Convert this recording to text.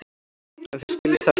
En þeir skilja þetta.